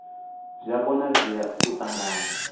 zwi a konadzea u ṱanganya